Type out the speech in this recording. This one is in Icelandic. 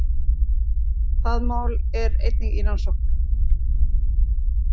Það mál er einnig í rannsókn